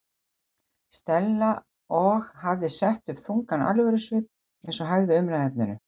Stella og hafði sett upp þungan alvörusvip eins og hæfði umræðuefninu.